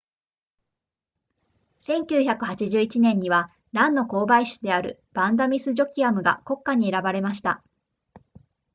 1981年にはランの交配種であるヴァンダミスジョアキムが国花に選ばれました